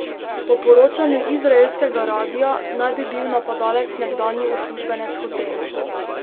Po poročanju izraelskega radia naj bi bil napadalec nekdanji uslužbenec hotela.